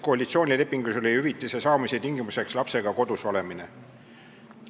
Koalitsioonilepingus oli ju hüvitise saamise tingimuseks lapsega kodus olemine.